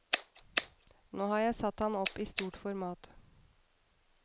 Nå har jeg satt ham opp i stort format.